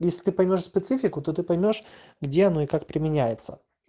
если ты поймёшь специфику ты поймёшь где она и как применяется